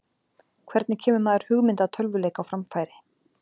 hvernig kemur maður hugmynd að tölvuleik á framfæri